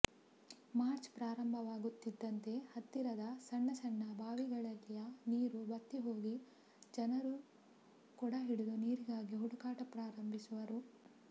March ಪ್ರಾರಂಭವಾಗುತ್ತಿದ್ದಂತೆ ಹತ್ತಿರದ ಸಣ್ಣ ಸಣ್ಣ ಬಾವಿಗಳಲ್ಲಿಯ ನೀರು ಬತ್ತಿಹೋಗಿ ಜನರು ಕೊಡ ಹಿಡಿದು ನೀರಿಗಾಗಿ ಹುಡುಕಾಟ ಪ್ರಾರಂಭಿಸುವರು